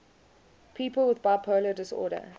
people with bipolar disorder